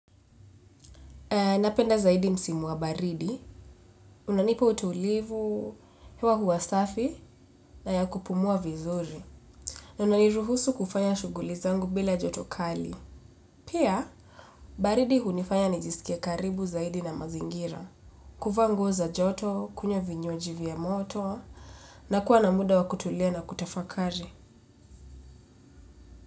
Napenda zaidi msimu wa baridi, unanipa utulivu, hewa huwasafi na ya kupumua vizuri, na unaniruhusu kufanya shugulizangu bila jotokali. Pia, baridi hunifanya nijisikie karibu zaidi na mazingira, kuvaanguo za joto, kunywa vinywa jivya moto, na kuwa na muda wakutulia na kutafakari.